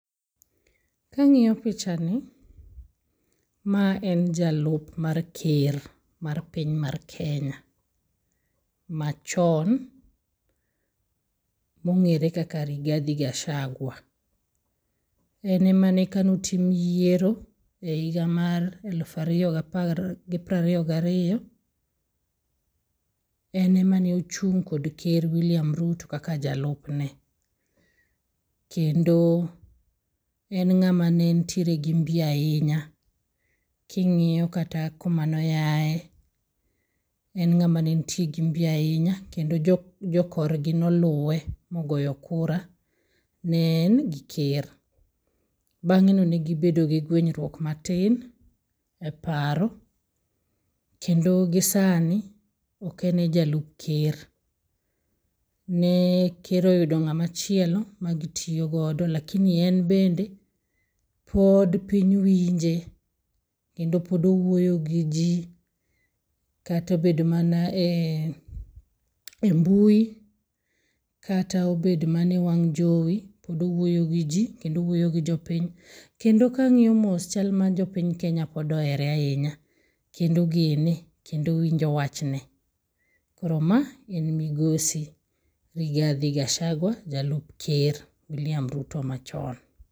Kang'io picha ni, ma en jalup mar ker mar piny mar Kenya machon mong'ere kaka Rigathi Gachagua. En emane kanotim yiero e higa mar elf ariyo gi prariyo gariyo. En emane ochung' kod ker William Ruto kaka jalupne. Kendo en ng'ama ne ntie gi mbi ahinya. King'iyo kata kuma noyae, en ng'ama nentie gi mbi ahinya. Kendo jokorgi noluwe mogoyo kura, ne en gi ker. Bang'e no negibedo gi gwenyruok matin e paro. Kendo gi sani, oken e jalup ker. Ne ker oyudo ng'amachielo ma gitiyogo. Lakini en bende, pod piny winje kendo pod owuoyo gi ji. Kata obedo mana e mbui, kata obedo mana e wang' jowi, pod owuoyo gi ji. Pod owuoyo gi jopiny. Kendo kang'iyo mos, chal ma jopiny Kenya pod ohere ahinya, kendo ogene kendo pod winjo wachne. Koro ma en migosi Rigathi Gachagua, jalup ker William Ruto machon.